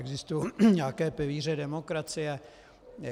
Existují nějaké pilíře demokracie.